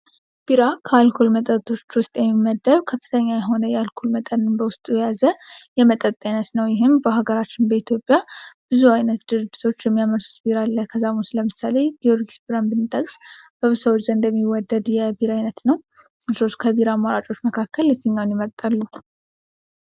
ቢራ ካልኮል መጠጦች ውስጥ የሚመደብ ከፍተኛ የሆነ የአልኮል መጠን በውስጡ የያዘ የመጠጥ አይነት ነው። ይህም በአገራችን በኢትዮጵያ ብዙ አይነት ድርጅቶች ለምሳሌ ጊዮርጊስ በራን ብሰው ዘንድ የሚወደድ አይነት ነው አማራጮች መካከል የትኛው?